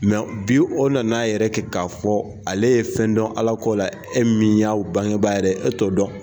Mɛ bi o nana a yɛrɛ kɛ k'a fɔ ale ye fɛn dɔn ala ko la e min y'a bangebaa yɛrɛ ye e t'o dɔn